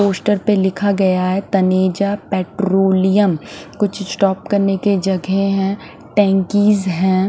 Poster पे लिखा गया है तनेजा पेट्रोलियम कुछ स्टॉप करने के जगह हैं टेंकीस हैं।